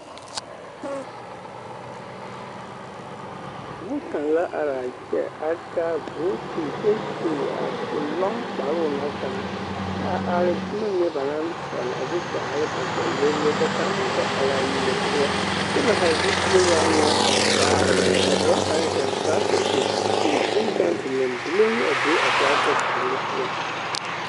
Dɔɔ kaŋa la are a kyɛ a taa booti kyɛ su a lɔŋ kparoo ŋa kaŋa a are boma mine ba naŋ sɛle a de daare ba ba le le ka kaŋ meŋ kpɛ are amine poɔ kyɛ ba haa zupile waa nyɛ a vaare na ka dɔɔ kaŋ zeŋ torata zu kyɛ ka boŋkaŋa bilimbiliŋ a be a torata puori poɔ.